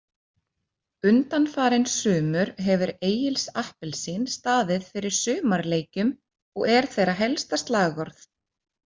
Undanfarin sumur hefur Egils Appelsín staðið fyrir sumarleikjum og er þeirra helsta slagorð.